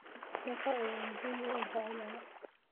Daaqa ayaa muhiim u ah xoolaha.